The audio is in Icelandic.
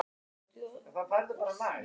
Gutti, hefur þú prófað nýja leikinn?